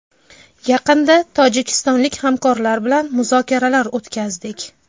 Yaqinda tojikistonlik hamkorlar bilan muzokaralar o‘tkazdik.